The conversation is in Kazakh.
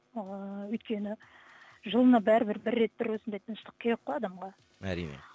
ыыы өйткені жылына бәрібір бір рет бір осындай тыныштық керек қой адамға әрине